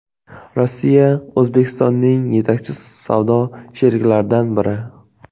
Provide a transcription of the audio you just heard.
Rossiya O‘zbekistonning yetakchi savdo sheriklaridan biri.